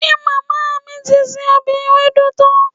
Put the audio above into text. Ṣe màmá mi ti se ọbẹ̀ ewédú tán?